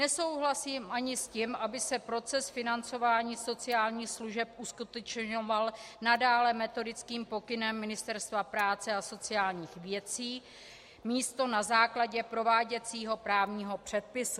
Nesouhlasím ani s tím, aby se proces financování sociálních služeb uskutečňoval nadále metodickým pokynem Ministerstva práce a sociálních věcí místo na základě prováděcího právního předpisu.